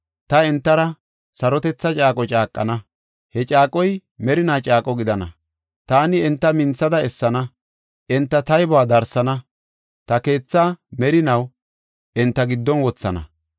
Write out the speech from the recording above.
Ta entara sarotetha caaqo caaqana; he caaqoy merinaa caaqo gidana. Taani enta minthada essana; enta taybuwa darsana; ta keethaa merinaw enta giddon wothana.